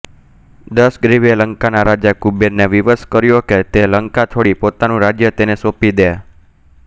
દશગ્રીવે લંકાના રાજા કુબેરને વિવશ કર્યો કે તે લંકા છોડી પોતાનું રાજ્ય તેને સૌંપી દે